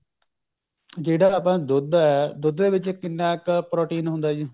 ਜਿਹੜਾ ਆਪਣਾ ਦੁੱਧ ਐ ਦੁੱਧ ਦੇ ਵਿੱਚ ਕਿੰਨਾ ਕ protein ਹੁੰਦਾ ਜੀ